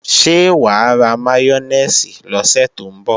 Ṣé wà á ra máyónèsì lọ́sẹ̀ tó ń bọ̀?